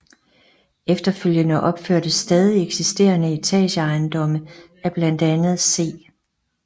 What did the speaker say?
Efterfølgende opførtes stadig eksisterende etageejendomme af blandt andet C